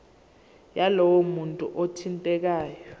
yalowo muntu othintekayo